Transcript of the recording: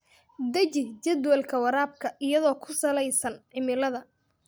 Deji jadwalka waraabka iyadoo ku saleysan cimilada.